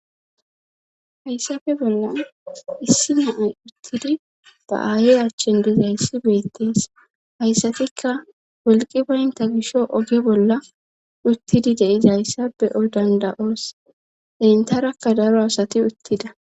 hayssabe bolla issi naay uttidi ba aayey achchin dizayssi beettees hayssatikka wolqi banta gisho oge bolla uttidi deiza hayssabe o danda7oos intarakka daro asati uttida